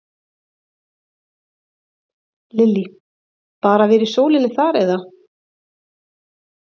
Lillý: Bara að vera í sólinni þar eða?